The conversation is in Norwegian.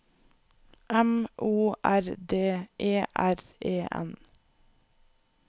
M O R D E R E N